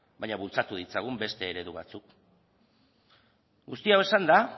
baina bultzatu ditzagun beste eredu batzuk guzti hau esanda